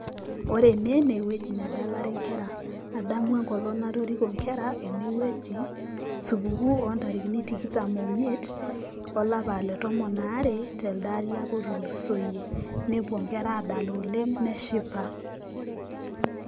ore ene naa ewueji nedalare inkera , adamu enkolong' natoriko inkera ene wueji, supukuuoo ntarikini tomon oo miet aolari le tomon are telde ari opa otulusoyie [25/12/2024] nepuo inkera aadala oleng' neshipa.